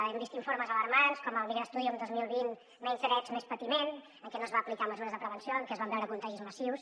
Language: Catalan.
hem vist informes alarmants com el migra studium dos mil vint menys drets més patiment en que no es van aplicar mesures de prevenció en que es van veure contagis massius